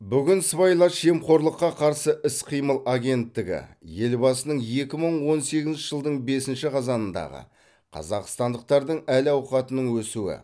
бүгін сыбайлас жемқорлыққа қарсы іс қимыл агенттігі елбасының екі мың он сегізінші жылдың бесінші қазанындағы қазақстандықтардың әл ауқатының өсуі